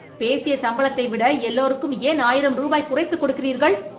பேசிய சம்பளத்தை விட எல்லோருக்கும் ஏன் ஆயிரம் ரூபாய் குறைத்துக் கொடுக்கிறீர்கள்